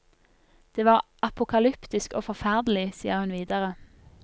Det var apokalyptisk og forferdelig, sier hun videre.